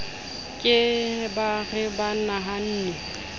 ke ba re ba nahanne